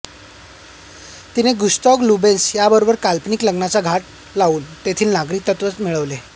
तिने Gustav Lubeck याबरोबर काल्पनिक लग्नाचा घाट घालून तेथील नागरिकत्वही मिळविले